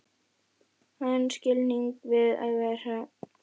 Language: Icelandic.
Þann skilning vil ég gera að mínum.